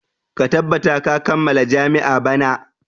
Ka tabbata ka kammala jami'a bana!